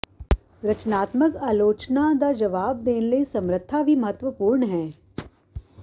ਰਚਨਾਤਮਕ ਆਲੋਚਨਾ ਦਾ ਜਵਾਬ ਦੇਣ ਲਈ ਸਮਰੱਥਾ ਵੀ ਮਹੱਤਵਪੂਰਨ ਹੈ